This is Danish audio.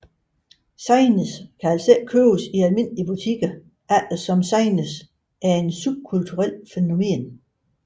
Zines kan altså ikke købes i almindelige butikker eftersom zines er et subkulturelt fænomen